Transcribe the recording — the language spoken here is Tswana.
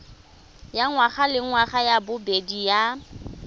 ya ngwagalengwaga ya bobedi ya